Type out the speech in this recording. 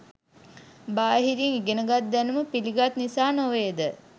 බාහිරින් ඉගෙනගත් දැනුම පිළිගත් නිසා නොවේ ද?